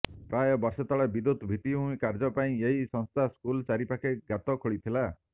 ପ୍ରାୟ ବର୍ଷେ ତଳେ ବିଦ୍ୟୁତ ଭିତ୍ତିଭୂମି କାର୍ଯ୍ୟ ପାଇଁ ଏହି ସଂସ୍ଥା ସ୍କୁଲ ଚାରି ପାଖେ ଗାତ ଖୋଳିଥିଲା